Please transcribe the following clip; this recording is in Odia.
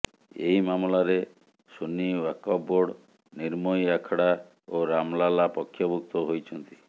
ଏହି ମାମଲାରେ ସୁନ୍ନୀ ୱାକଫ ବୋର୍ଡ ନିର୍ମୋହି ଆଖଡା ଓ ରାମ ଲାଲା ପକ୍ଷଭୁକ୍ତ ହୋଇଛନ୍ତି